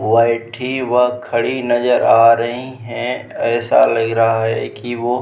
वैठी वह खड़ी नजर आ रहीं हैं ऐसा लग रहा है की वो --